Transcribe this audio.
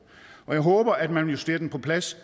og jeg håber at man vil justere den på plads